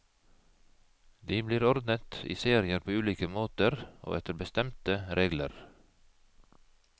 De blir ordnet i serier på ulike måter, og etter bestemte regler.